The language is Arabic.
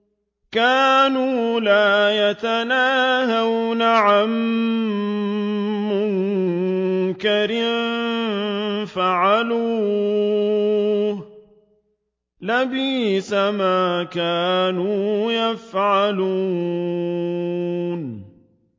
كَانُوا لَا يَتَنَاهَوْنَ عَن مُّنكَرٍ فَعَلُوهُ ۚ لَبِئْسَ مَا كَانُوا يَفْعَلُونَ